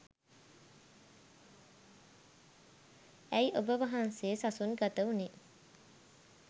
ඇයි ඔබ වහන්සේ සසුන් ගත වුණේ?